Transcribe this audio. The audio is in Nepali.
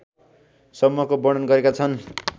सम्मको वर्णन गरेका छन्।